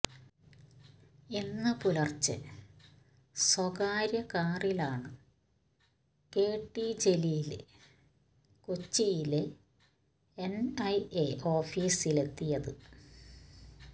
ഇന്ന് പുലര്ച്ചെ സ്വകാര്യ കാറിലാണ് കെ ടി ജലീല് കൊച്ചിയിലെ എന്ഐഎ ഓഫീസിലെത്തിയത്